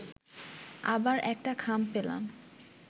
আবার একটা খাম পেলাম